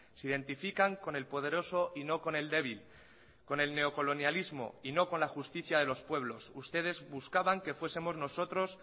se identifican con el poderoso y no con el débil con el neocolonialismo y no con la justicia de los pueblos ustedes buscaban que fuesemos nosotros